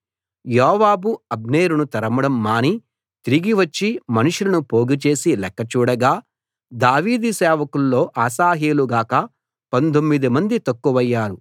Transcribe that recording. యోవాబు అబ్నేరును తరమడం మాని తిరిగి వచ్చి మనుషులను పోగు చేసి లెక్క చూడగా దావీదు సేవకుల్లో అశాహేలు గాక పందొమ్మిదిమంది తక్కువయ్యారు